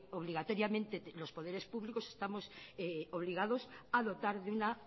obligatoriamente los poderes públicos estamos obligados a dotar de una